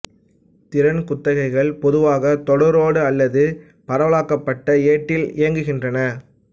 திறன் குத்தகைகள் பொதுவாக தொடரேடு அல்லது பரவாலக்கப்பட்ட ஏட்டில் இயங்குகின்றன